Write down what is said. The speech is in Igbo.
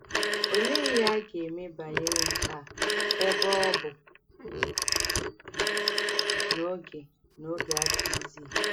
Òlèé íhè à gà-èmè bànyèrè ǹkè à, èbè ọ̀ bụ̀ nà ògè nà ògè àdíghìzì?